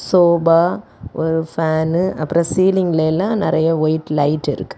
Sofa ஒரு fan அப்புறம் சீலிங்லெல்லா நறைய ஒயிட் லைட் இருக்கு.